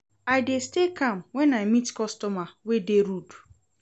I dey stay calm wen I meet customer wey dey rude.